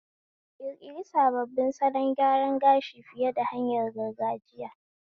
Ƙirƙiri sabbin salon gyaran gashi fiye da hanyar gargajiya.